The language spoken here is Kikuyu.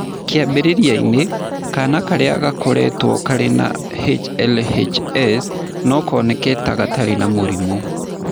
Kĩambĩrĩria-inĩ, kaana karĩa gakũrĩtwo karĩ na HLHS no kaoneke ta gatarĩ na mũrimũ.